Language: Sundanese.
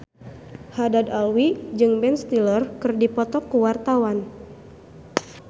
Haddad Alwi jeung Ben Stiller keur dipoto ku wartawan